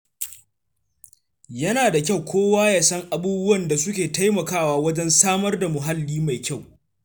Yana da kyau kowa ya san abubuwan da suke taimakawa wajen samar da muhalli mai kyau.